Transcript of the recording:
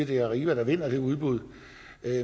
det er arriva der vinder det udbud